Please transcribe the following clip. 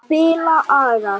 Spila agað!